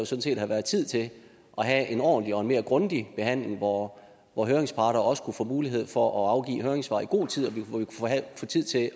set have været tid til at have en ordentlig og en mere grundig behandling hvor hvor høringsparterne også kunne få mulighed for at afgive høringssvar i god tid og vi kunne få tid til at